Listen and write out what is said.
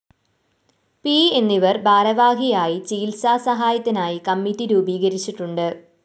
P എന്നിവര്‍ ഭാരവാഹിയായി ചികിത്സാ സഹായത്തിനായി കമ്മിറ്റി രൂപീകരിച്ചിട്ടുണ്ട്